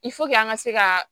an ka se ka